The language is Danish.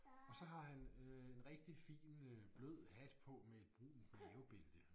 Og så har han øh en rigtig fin øh blød hat på med et brunt mavebælte